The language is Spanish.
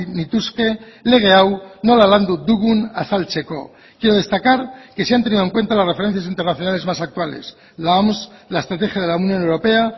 nituzke lege hau nola landu dugun azaltzeko quiero destacar que se han tenido en cuenta las referencias internacionales más actuales la oms la estrategia de la unión europea